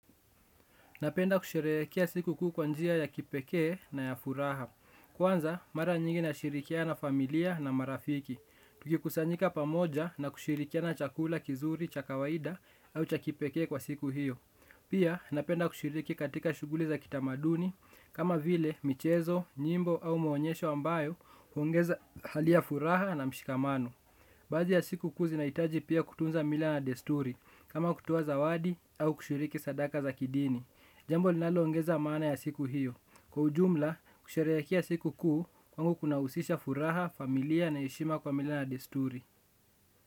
Napenda kusherehekea siku kukuu kwanjia ya kipekee na ya furaha. Kwanza mara nyingi na shirikia na familia na marafiki. Tuki kusanyika pamoja na kushirikiana chakula, kizuri, chakawaida au chakipekee kwa siku hiyo. Pia napenda kushiriki katika shughuli za kitamaduni kama vile michezo, nyimbo au maonyesho ambayo huongeza hali ya furaha na mshikamano. Baadhi ya siku kuu zi nahitaji pia kutunza mila na desturi, kama kutoa zawadi au kushiriki sadaka za kidini. Jambo linalo ongeza maana ya siku hiyo. Kwa ujumla, kusherehekea siku kuu, kwangu kuna husisha furaha, familia na heshima kwa mila na na desturi.